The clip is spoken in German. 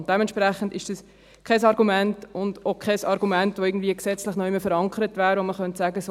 Und dementsprechend ist das kein Argument und auch kein Argument, das gesetzlich irgendwo verankert wäre, bei dem man sagen könnte: